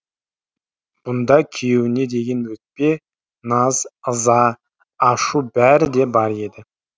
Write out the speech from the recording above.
бұнда күйеуіне деген өкпе наз ыза ашу бәрі де бар еді